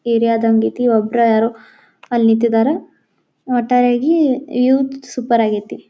ಏರಿಯಾದ್ ಹಂಗೈತಿ ಒಬ್ರ ಯಾರೋ ಅಲ್ಲಿ ನಿಟ್ಟಿದರೆ ಒಟ್ಟಾರೆಯಾಗಿ ವಿವಸ್ ಸೂಪರ್ ಆಗೈತಿ.